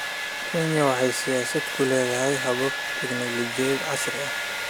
Kenya waxa ay siyaasadda ku leedahay habab tignoolajiyada casriga ah.